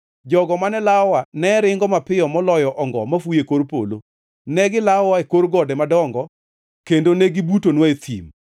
Jogo mane lawowa ne ringo mapiyo maloyo ongo mafuyo e kor polo; negilawowa e kor gode madongo kendo negibutonwa e thim.